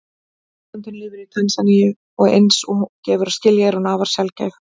Tegundin lifir í Tansaníu og eins og gefur að skilja er hún afar sjaldgæf.